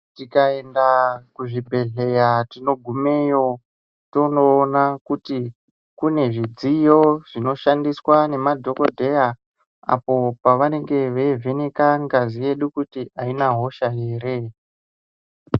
Tikaenda kuzvibhedhleya tinogumeyo, tonoona kuti kune zvidziyo zvinoshandiswa nemadhokodheya, apo pavanenge veivheneka ngazi yedu kuti, aina hosha here.